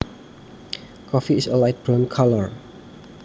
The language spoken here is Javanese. Coffee is a light brown color